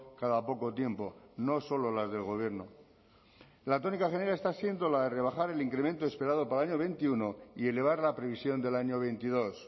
cada poco tiempo no solo las del gobierno la tónica general está siendo la de rebajar el incremento esperado para el año veintiuno y elevar la previsión del año veintidós